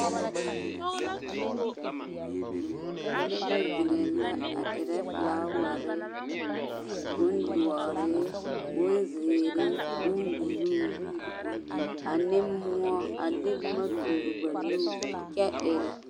Noba zeŋee la a erɛ felaaware bondoɔre bonzeere bombuluu ane moɔ a de boma toore ba nuure kyɛ erɛ